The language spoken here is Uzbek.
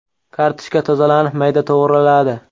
Kartoshka tozalanib, mayda to‘g‘raladi.